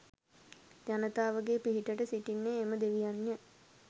ජනතාවගේ පිහිටට සිටින්නේ එම දෙවියන්ය